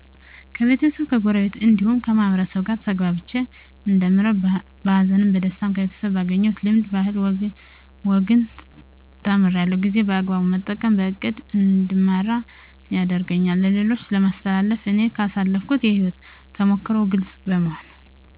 ከቤተሰብ ከጎረቤት እንዲሁም ከማህበረሰቡ ጋር ተግባብቼ እንደምኖር በሀዘንም በደስታ ከቤተሰብ ባገኘሁት ልምድ ባህልና ወግን ተምራለሁ ጊዜ በአግባቡ መጠቀም በእቅድ እንድመራ ያደርገኛል ለሌሎች የማስተላልፈው እኔ ካሳለፍኩት የህይወት ተሞክሮ ግልፅ በመሆን